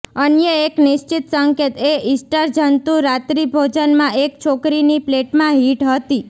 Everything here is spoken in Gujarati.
અન્ય એક નિશ્ચિત સંકેત એ ઇસ્ટર જંતુ રાત્રિભોજનમાં એક છોકરીની પ્લેટમાં હિટ હતી